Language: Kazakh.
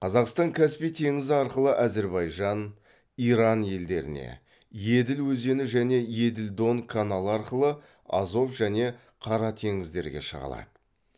қазақстан каспий теңізі арқылы әзірбайжан иран елдеріне еділ өзені және еділ дон каналы арқылы азов және қара теңіздерге шыға алады